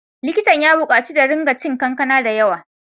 Likitan ya bukaci da ringa cin kankana da yawa.